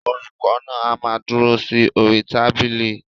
Olùkọ náà a má dúró sí orí tábìlì.